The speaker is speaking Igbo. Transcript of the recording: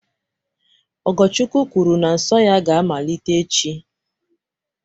Ogochukwu kwuru na nsọ ya ga-amalite echi